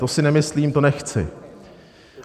To si nemyslím, to nechci.